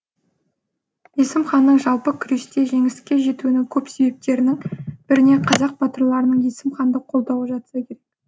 есім ханның жалпы күресте жеңіске жетуінің көп себептерінің біріне қазақ батырларының есім ханды қолдауы жатса керек